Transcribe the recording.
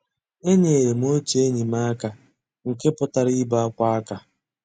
Ényéré m ótú ényí m àká nkè pụ́tárá ìbé ákwá àká.